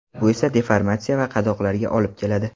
Bu esa deformatsiya va qadoqlarga olib keladi.